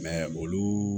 olu